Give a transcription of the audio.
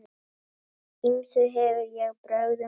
Ýmsum hef ég brögðum beitt.